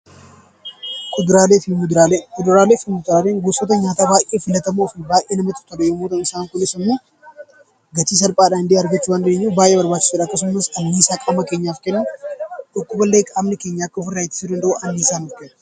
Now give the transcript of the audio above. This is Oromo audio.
Kuduraalee fi muduraalee Kuduraalee fi muduraaleen gosoota nyaataa baay'ee filatamoo fi baay'ee namatti tolu yommuu ta'u isaan kunis immoo gatii salphaadhaan illee argachuu dandeenyuf baay'ee barbaachisoodha. Akkasumas annisaa qaama keenyaaf kennu, dhukkuballee qaamni keenya akka ofirraa ittisuu danda'u annisaa nuuf kennu.